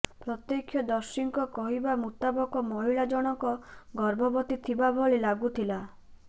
ପ୍ରତ୍ୟକ୍ଷଦର୍ଶୀଙ୍କ କହିବା ମୁତାବକ ମହିଳା ଜଣଙ୍କ ଗର୍ଭବତୀ ଥିବା ଭଳି ଲାଗୁଥିଲା